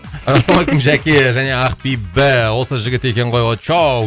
ассалаумалейкум жәке және ақбибі осы жігіт екен ғой очоу